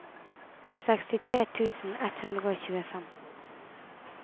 sekstitre tusen ett hundre og tjuefem